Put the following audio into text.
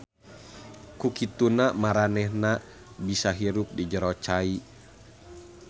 Ku kituna maranehanana bisa hirup di jero cai.